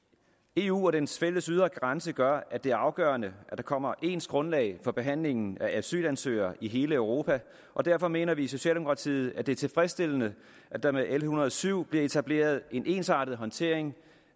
eu og dens fælles ydre grænse gør at det er afgørende at der kommer ens grundlag for behandlingen af asylansøgere i hele europa og derfor mener vi i socialdemokratiet at det er tilfredsstillende at der med l en hundrede og syv bliver etableret en ensartet håndtering